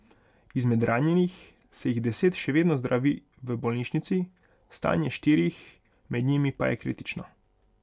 Izmed ranjenih se jih deset še vedno zdravi v bolnišnici, stanje štirih med njimi pa je kritično.